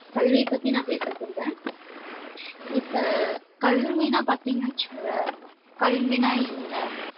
கல்வி பத்தி நான் பேச சொல்றேன் இப்ப கல்வின்னா பாத்தீங்கன்னு வச்சுக்கோங்க கல்வின்னா என்ன